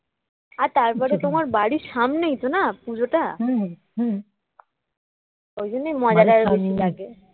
আর তারপরে তোমার বাড়ির সামনেই তো না পুজোটা? ওর জন্যই মজাটা লাগে